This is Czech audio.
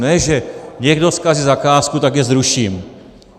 Ne že někdo zkazí zakázku, tak ji zruším.